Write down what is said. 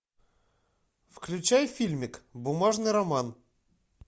включай фильмик бумажный роман